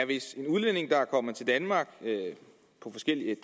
hvis en udlænding der er kommet til danmark af forskellige